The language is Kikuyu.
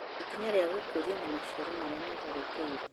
Ikinya rĩa gũkũria na maciaro marĩa matharĩkĩirwo